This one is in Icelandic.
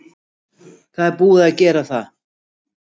Þá er búið að gera það.